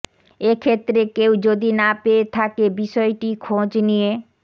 এক্ষেত্রে কেউ যদি না পেয়ে থাকে বিষয়টি খোঁজ নিয়ে